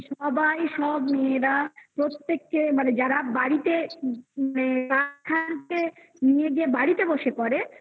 সবাই সব মেয়েরা প্রত্যেককে মানে যারা বাড়িতে নিয়ে গিয়ে বাড়িতে বসে পড়ে